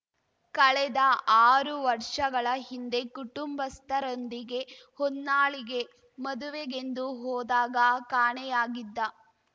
ಕಳೆದ ಆರು ವರ್ಷಗಳ ಹಿಂದೆ ಕುಟುಂಬಸ್ಥರೊಂದಿಗೆ ಹೊನ್ನಾಳಿಗೆ ಮದುವೆಗೆಂದು ಹೋದಾಗ ಕಾಣೆಯಾಗಿದ್ದ